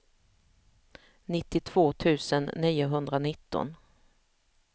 nittiotvå tusen niohundranitton